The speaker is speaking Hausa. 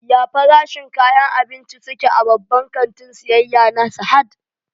Ya farashin kayan abinci su ke a babban kantin siyayya na Sahad?